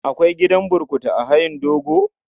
Akwai gidan burkutu a hayin dogo?